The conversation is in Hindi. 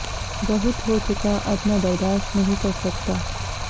बहुत हो चुका अब मैं बर्दाश्त नहीं कर सकता